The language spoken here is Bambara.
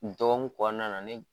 Dɔnkun kɔnɔna na ne